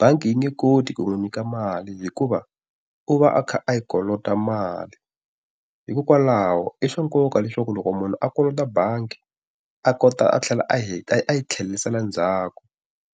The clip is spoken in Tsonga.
bangi yi nge koti ku n'wi nyika mali hikuva u va a kha a yi kolota mali. Hikokwalaho i swa nkoka leswaku loko munhu a kolota bangi a kota a tlhela a a a yi tlherisela ndzhaku